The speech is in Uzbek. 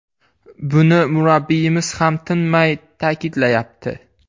Buni murabbiyimiz ham tinmay ta’kidlayapti.